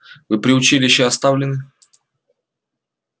вы при училище оставлены